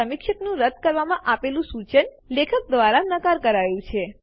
સમીક્ષકનું રદ્દ કરવા માટે આપેલુ સુચન લેખક દ્વારા નકાર કરાયું છે